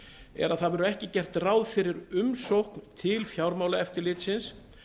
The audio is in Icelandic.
er að það verður ekki gert ráð fyrir umsókn til fjármálaeftirlitsins